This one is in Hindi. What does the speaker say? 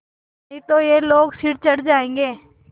नहीं तो ये लोग सिर चढ़ जाऐंगे